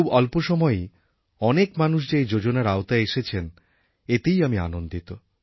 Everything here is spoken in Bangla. খুব অল্প সময়েই অনেক মানুষ যে এই যোজনার আওতায় এসেছেন এতেই আমি আনন্দিত